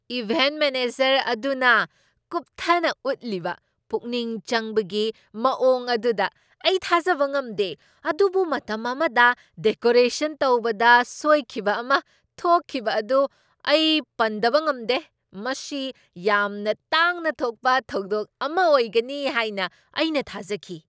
Event manager ꯑꯗꯨꯅ ꯀꯨꯞꯊꯅ ꯎꯠꯈꯤꯕ ꯄꯨꯛꯅꯤꯡ ꯆꯪꯕꯒꯤ ꯃꯑꯣꯡ ꯑꯗꯨꯗ ꯑꯩ ꯊꯥꯖꯕ ꯉꯝꯗꯦ, ꯑꯗꯨꯕꯨ ꯃꯇꯝ ꯑꯃꯗ ꯗꯦꯀꯣꯔꯦꯁꯟ ꯇꯧꯕꯗ ꯁꯣꯏꯈꯤꯕ ꯑꯃ ꯊꯣꯛꯈꯤꯕ ꯑꯗꯨ ꯑꯩ ꯄꯟꯗꯕ ꯉꯝꯗꯦ ꯫ ꯃꯁꯤ ꯌꯥꯝꯅ ꯇꯥꯡꯅ ꯊꯣꯛꯄ ꯊꯧꯗꯣꯛ ꯑꯃ ꯑꯣꯏꯒꯅꯤ ꯍꯥꯏꯅ ꯑꯩꯅ ꯊꯥꯖꯈꯤ ꯫